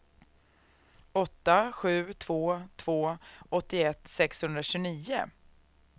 åtta sju två två åttioett sexhundratjugonio